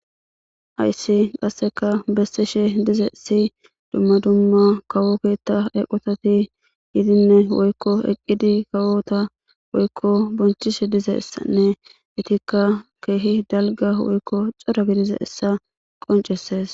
Hayssi qasseka bessishe dizayssi dumma dumma kawo keetta eqotati yidinne woykko eqqidi kawota woykko bonchishe dizeyssanne etikka keehi dalga woykko cora gidizayssa qoncesees.